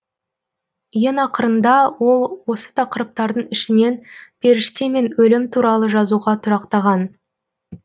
ең ақырында ол осы тақырыптардың ішінен періште мен өлім туралы жазуға тұрақтаған